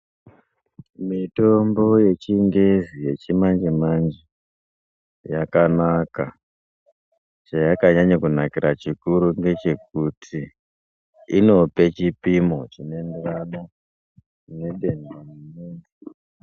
Mitombo yechingezi yechimanje manje yakanaka chayakanyanyira kunakira chikuru ndechekuti inopa chipimo chinoenderana nedenda.